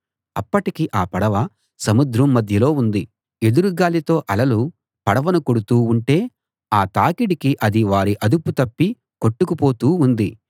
అప్పటికి ఆ పడవ సముద్రం మధ్యలో ఉంది ఎదురు గాలితో అలలు పడవను కొడుతూ ఉంటే ఆ తాకిడికి అది వారి అదుపు తప్పి కొట్టుకుపోతూ ఉంది